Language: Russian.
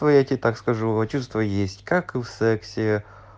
ну я тебе так скажу а чувства есть как и в сексе